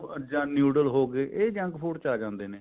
ਜਾਂ noodle ਹੋਗੇ ਇਹ junk food ਚ ਆ ਜਾਂਦੇ ਨੇ